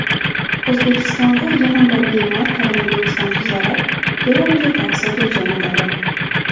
O‘zbekistonda yana bir bemor koronavirusdan tuzalib, reabilitatsiyaga jo‘natildi.